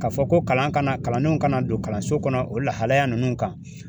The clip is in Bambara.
Ka fɔ ko kalan ka na kalandenw ka na don kalanso kɔnɔ o lahalaya ninnu kan.